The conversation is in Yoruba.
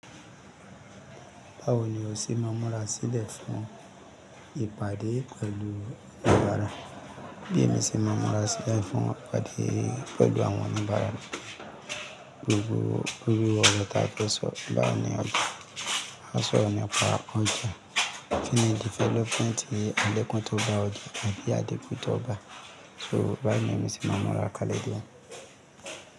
Báwo ni o ṣe máa múra sí lẹ́fọ̀ọ́ ìpàdé pẹ̀lú oníbàárà? Bí èmi ṣe máa múra sí lẹ́fọ̀ọ́ ìpàdé pẹ̀lú àwọn oníbàárà ni gbogbo gbogbo ọ̀rọ̀ táa fẹ́ sọ. Báwo ni a sọ nípa entrepreneur, community development àlékún tó bá òdì àbí àlékún tó bá ṣúù bá ń ṣe máa múra kalẹ̀ díẹ̀.